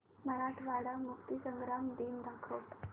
मराठवाडा मुक्तीसंग्राम दिन दाखव